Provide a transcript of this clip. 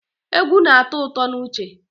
Egwu na-atọ ụtọ n'uche